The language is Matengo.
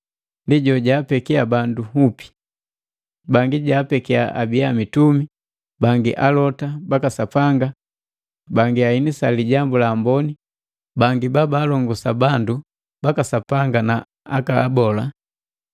Ndi jojapekiya bandu nhupi: Bangi jaapekiya abiya mitumi, bangi alota baka Sapanga, bangi aenisa Lijambu la Amboni, bangi babaalongosa bandu baka Sapanga na aka abola.